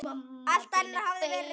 Alt annað hafði verið reynt.